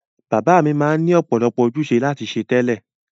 Bàbá mi ma n ni ọ̀pọ̀lọpọ̀ ojúse láti se tẹ́lẹ̀